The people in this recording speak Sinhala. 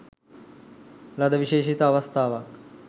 ලද විශේෂිත අවස්ථාවක්.